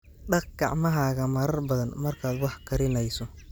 Dhaq gacmahaaga marar badan markaad wax karinayso.